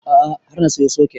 A'a har na siyo soket